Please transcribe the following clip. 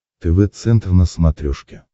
тв центр на смотрешке